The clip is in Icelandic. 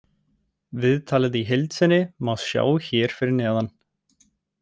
Viðtalið í heild sinni má sjá hér fyrir neðan.